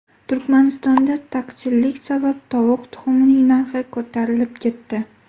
Turkmanistonda taqchillik sabab tovuq tuxumining narxi ko‘tarilib ketdi.